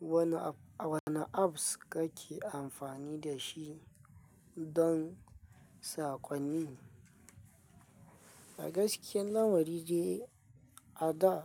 Wane apps kake amfani da shi don sakonni? A gaskiya, lamari de a da.